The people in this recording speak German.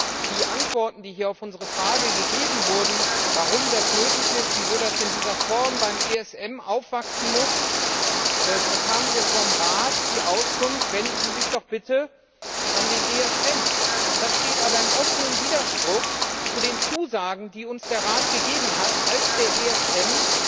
Als Antworten auf unsere Frage, warum das nötig ist, wieso das in dieser Form beim ESM aufwachsen muss, bekamen wir vom Rat die Auskunft Wenden Sie sich doch bitte an den ESM. Das steht aber im offenen Widerspruch zu den Zusagen, die uns der Rat gegeben hat, als der ESM